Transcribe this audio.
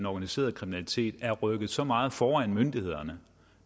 organiserede kriminalitet er rykket så meget foran myndighederne